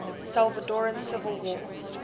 salvadoran civil war